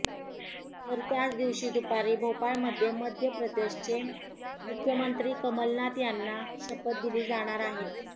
तर त्याच दिवशी दुपारी भोपाळमध्ये मध्यप्रदेशचे मुख्यमंत्री कमलनाथ यांना शपथ दिली जाणार आहे